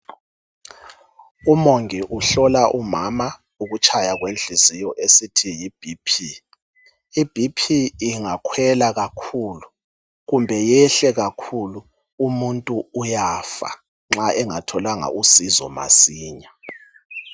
Umongi uhlola umama ukutshaya kwenhliziyo esithi yi BP. I BP ingakhwela kakhulu kumbe iyehle kakhulu umuntu uyafa nxa engatholanga usizo masinya.